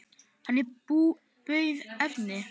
Hann bauð Erni.